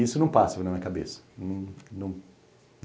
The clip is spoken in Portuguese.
Isso não passa na minha cabeça.